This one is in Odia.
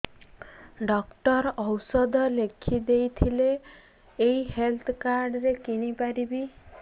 ଡକ୍ଟର ଔଷଧ ଲେଖିଦେଇଥିଲେ ଏଇ ହେଲ୍ଥ କାର୍ଡ ରେ କିଣିପାରିବି